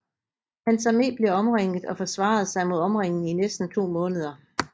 Hans armé blev omringet og forsvarede sig mod omringningen i næsten to måneder